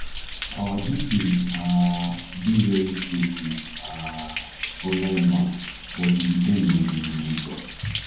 our details um dey very safe with um online bank but e depend on di individual